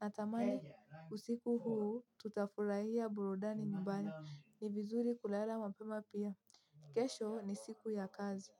Natamani usiku huu tutafurahia burudani nyumbani ni vizuri kulala mapema pia. Kesho ni siku ya kazi.